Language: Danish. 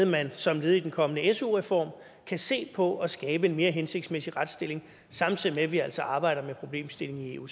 man som led i den kommende su reform kan se på at skabe en mere hensigtsmæssig retsstilling samtidig med at vi altså arbejder med problemstillingen i eu